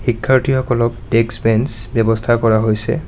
শিক্ষাৰ্থীসকলক desk bench ব্যৱস্থা কৰা হৈছে।